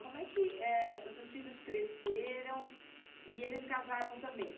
Como é que, é os seus filhos cresceram e eles casaram também?